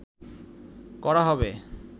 করা হবে